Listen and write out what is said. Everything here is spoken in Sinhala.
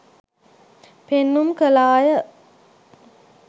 පෙන්නුම් කළාය.